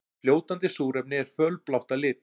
Fljótandi súrefni er fölblátt að lit.